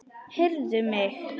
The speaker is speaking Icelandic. Heyrðu mig.